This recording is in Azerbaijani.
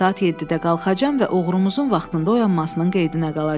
Saat 7-də qalxacam və oğrumuzun vaxtında oyanmasının qeydinə qalacam.